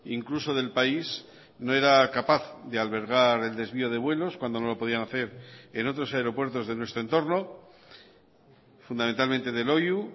incluso del país no era capaz de albergar el desvío de vuelos cuando no lo podían hacer en otros aeropuertos de nuestro entorno fundamentalmente de loiu